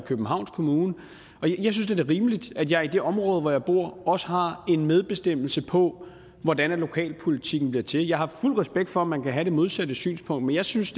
københavns kommune og jeg synes da det er rimeligt at jeg i det område hvor jeg bor også har en medbestemmelse på hvordan lokalpolitikken bliver til jeg har fuld respekt for at man kan have det modsatte synspunkt men jeg synes